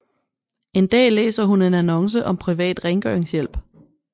En dag læser hun en annonce om privat rengøringshjælp